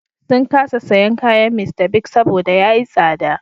Sun kasa sayen kayan Mr. Biggs saboda ya yi tsada.